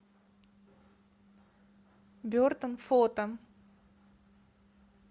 бертон фото